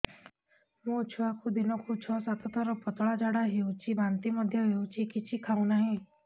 ମୋ ଛୁଆକୁ ଦିନକୁ ଛ ସାତ ଥର ପତଳା ଝାଡ଼ା ହେଉଛି ବାନ୍ତି ମଧ୍ୟ ହେଉଛି କିଛି ଖାଉ ନାହିଁ